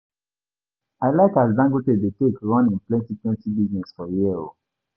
I like as Dangote dey take run him plenty plenty business for here o.